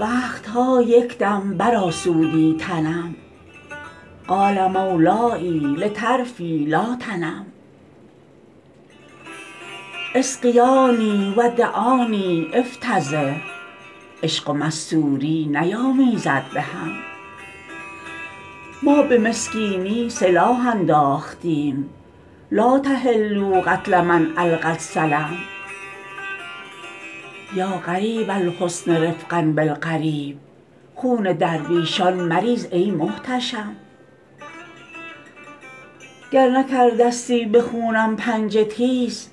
وقت ها یک دم برآسودی تنم قال مولای لطرفی لا تنم اسقیاني و دعاني أفتضح عشق و مستوری نیامیزد به هم ما به مسکینی سلاح انداختیم لا تحلوا قتل من ألقی السلم یا غریب الحسن رفقا بالغریب خون درویشان مریز ای محتشم گر نکرده ستی به خونم پنجه تیز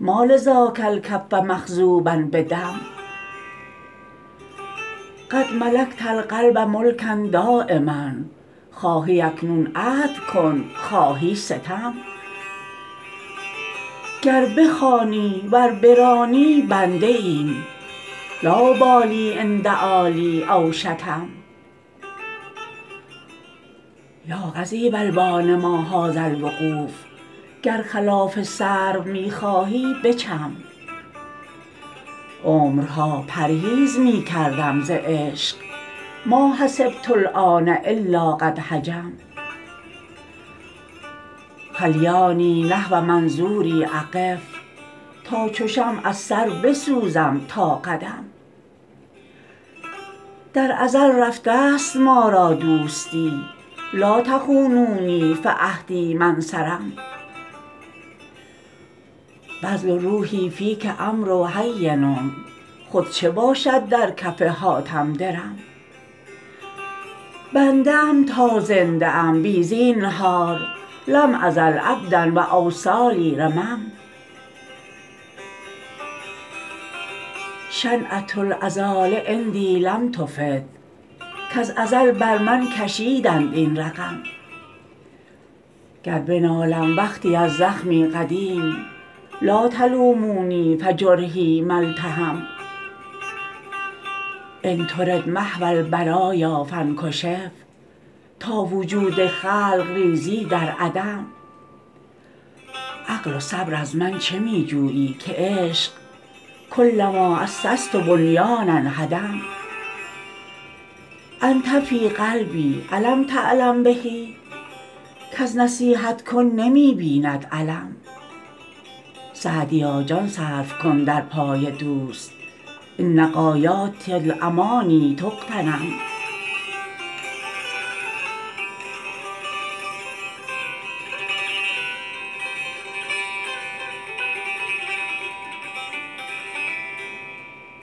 ما لذاک الکف مخضوبا بدم قد ملکت القلب ملکا دایما خواهی اکنون عدل کن خواهی ستم گر بخوانی ور برانی بنده ایم لا أبالي إن دعا لی أو شتم یا قضیب البان ما هذا الوقوف گر خلاف سرو می خواهی بچم عمرها پرهیز می کردم ز عشق ما حسبت الآن إلا قد هجم خلیاني نحو منظوري أقف تا چو شمع از سر بسوزم تا قدم در ازل رفته ست ما را دوستی لا تخونونی فعهدی ما انصرم بذل روحي فیک أمر هین خود چه باشد در کف حاتم درم بنده ام تا زنده ام بی زینهار لم أزل عبدا و أوصالي رمم شنعة العذال عندي لم تفد کز ازل بر من کشیدند این رقم گر بنالم وقتی از زخمی قدیم لا تلوموني فجرحي ما التحم إن ترد محو البرایا فانکشف تا وجود خلق ریزی در عدم عقل و صبر از من چه می جویی که عشق کلما أسست بنیانا هدم أنت في قلبي أ لم تعلم به کز نصیحت کن نمی بیند الم سعدیا جان صرف کن در پای دوست إن غایات الأماني تغتنم